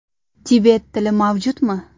Tibet tili mavjudmi?